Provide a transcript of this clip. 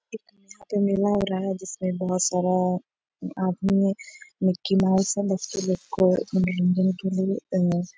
यहाँ पे मेला हो रहा है जिसमें बहुत सारा आदमी है मिक्की माउस और बच्चे लोग को मनोरंजन के लिए --